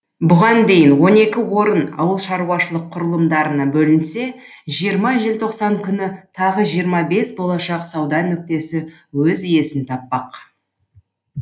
бұған дейін он екі орын ауылшаруашылық құрылымдарына бөлінсе жиырма желтоқсан күні тағы жиырма бес болашақ сауда нүктесі өз иесін таппақ